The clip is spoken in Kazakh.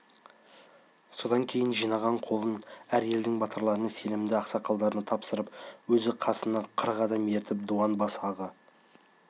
содан кейін жинаған қолын әр елдің батырларына сенімді ақсақалдарына тапсырып өзі қасына қырық адам ертіп дуан басы аға